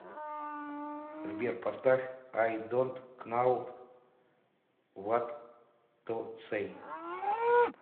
сбер поставь ай донт кнау ват ту сэй